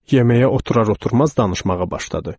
Yeməyə oturar-oturmaz danışmağa başladı.